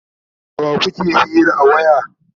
da wa kuke hira a waya?